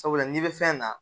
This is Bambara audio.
Sabula n'i bɛ fɛn na